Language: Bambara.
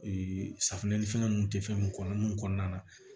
safunɛ ni fɛn ninnu tɛ fɛn mun kɔnɔ mun kɔnɔna na